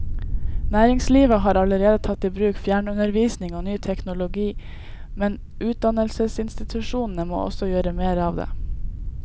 Næringslivet har allerede tatt i bruk fjernundervisning og ny teknologi, men utdannelsesinstitusjonene må også gjøre mer av det.